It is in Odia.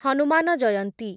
ହନୁମାନ ଜୟନ୍ତୀ